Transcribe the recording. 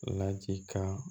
Ladikan